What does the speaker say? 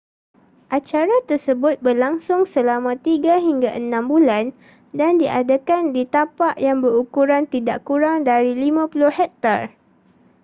acara tersebut berlangsung selama tiga hingga enam bulan dan diadakan di tapak yang berukuran tidak kurang dari 50 hektar